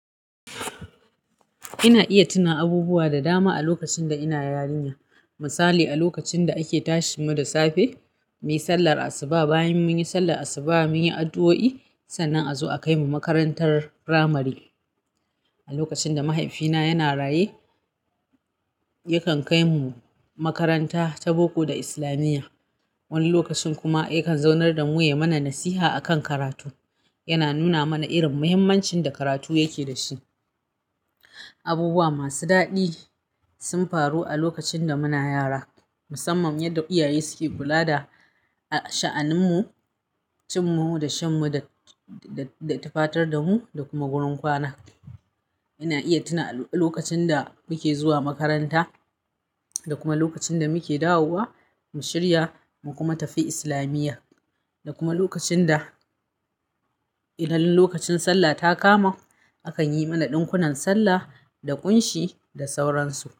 Ina iya tuna abubuwa da dama a lokacin da ina yarinya. Misali a lokacin da ake tashi mu da safe, muyi sallar asuba, bayan mun yi sallar asuba mun yi addu'o'i, sannan a zo a kai mu makarantar firamare. A lokacin da mahaifina yana raye, yakan kai mu makaranta ta boko da islamiyya. Wani lokacin kuma yakan zaunar da mu ya mana nasiha a kan karatu. Yana nuna mana irin muhimmancin da karatu yake da shi. Abubuwa masu daɗi sun faru a lokacin da muna yara. Musamman yadda iyaye suke kula da, a sha'aninmu, cin mu da shan mu da, da, da tufatar da mu da kuma wurin kwana. Ina iya tuna a lokacin da muke zuwa makaranta da kuma lokacin da muke dawowa, mu shirya mu kuma tafi islamiyya. Da kuma lokacin da illolin lokacin sallah ta kama, akan yi mana ɗinkunan sallah da kunshi da sauransu.